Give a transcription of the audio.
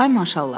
Ay maşallah.